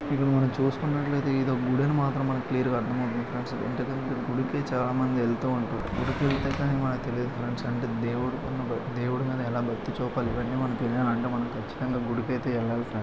ఇప్పుడు మనం చుస్తున్నట్లైతే ఇదొక గుడని మాత్రం మనకు క్లియర్ గా అర్ధం అవుతుంది ఫ్రెండ్స్ . మీ దగ్గరున్నటువంటి గుడికే చాలా మంది వెళ్తూ ఉంటారు. గుడికేల్తే కానీ మనకు తెలియదు ఫ్రెండ్స్ . అంటే దేవుడ్ దేవుడుకున్న భక్తీ దేవుడి మీద ఎలా భక్తీ చూపాలి. ఇవన్నీ మనకు తెలియాలంటే మనం కచ్చితంగా గుడికైతే వెళ్ళాలి ఫ్రెండ్స్ .